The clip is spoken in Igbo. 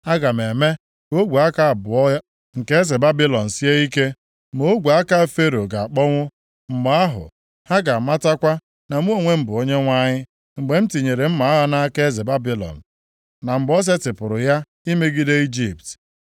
Aga m eme ka ogwe aka abụọ nke eze Babilọn sie ike; ma ogwe aka Fero ga-akpọnwụ. Mgbe ahụ, ha ga-amatakwa na mụ onwe m bụ Onyenwe anyị, mgbe m tinyere mma agha nʼaka eze Babilọn, na mgbe o setịpụrụ ya imegide Ijipt.